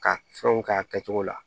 Ka fɛnw k'a kɛcogo la